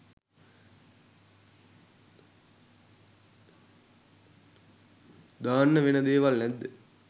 දාන්න වෙන දේවල් නැද්ද?